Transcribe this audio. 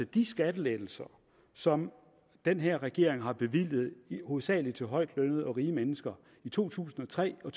de skattelettelser som den her regering har bevilget hovedsagelig til højtlønnede og rige mennesker i to tusind og tre og